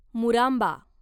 मुरांबा